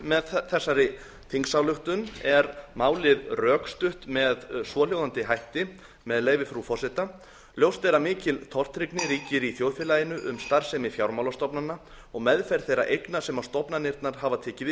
með þessari þingsályktun er málið rökstutt með svohljóðandi hætti með leyfi frú forseta ljóst er að mikil tortryggni ríkir í þjóðfélaginu um starfsemi fjármálastofnana og meðferð þeirra eigna sem stofnanirnar hafa tekið